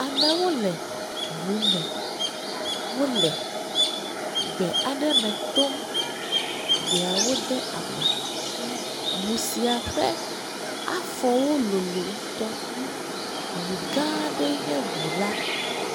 Amewo le ʋume wole gbe aɖeme tom, gbea wo de ama, ʋusiƒe afowo lolo ŋutɔ. Ʋu gã aɖe nye ʋula.